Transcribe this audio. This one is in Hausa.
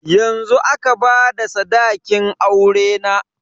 Yanzu aka bada sadakin aurena.